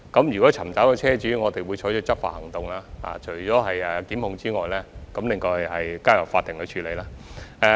如果尋找到車主，我們會採取執法行動，提出檢控，交由法庭處理。